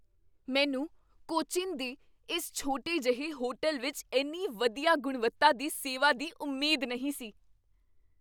ਮੈਨੂੰ ਕੋਚੀਨ ਦੇ ਇਸ ਛੋਟੇ ਜਿਹੇ ਹੋਟਲ ਵਿੱਚ ਇੰਨੀ ਵਧੀਆ ਗੁਣਵੱਤਾ ਦੀ ਸੇਵਾ ਦੀ ਉਮੀਦ ਨਹੀਂ ਸੀ!